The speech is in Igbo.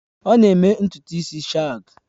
Ọ na-eme ntutu isi shags